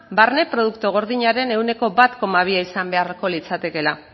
barne produktu gordinaren ehuneko bat koma bia izan beharko litzatekela